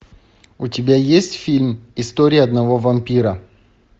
у тебя есть фильм история одного вампира